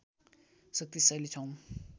शक्तिशाली छौं